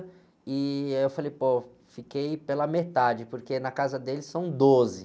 E aí, eu falei, pô, fiquei pela metade, porque na casa dele são doze.